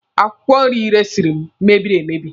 Akwụkwọ nri Ị resiri m mebiri emebi.